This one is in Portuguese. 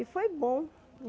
E foi bom.